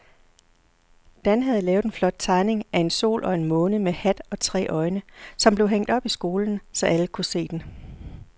Dan havde lavet en flot tegning af en sol og en måne med hat og tre øjne, som blev hængt op i skolen, så alle kunne se den.